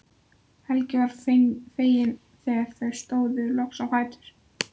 Helgi var feginn þegar þau stóðu loks á fætur.